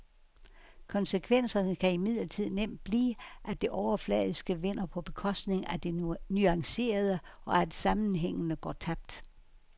Konsekvenserne kan imidlertid nemt blive, at det overfladiske vinder på bekostning af det nuancerede, og at sammenhængene går tabt.